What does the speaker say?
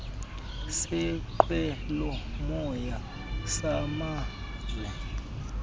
seenqwelo moya samazwe